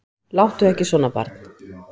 Láttu ekki svona barn.